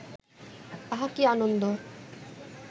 আহা কি আনন্দ